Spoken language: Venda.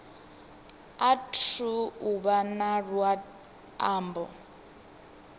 athu u vha na luambo